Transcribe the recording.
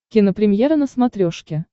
кинопремьера на смотрешке